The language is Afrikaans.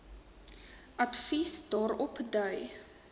advies daarop dui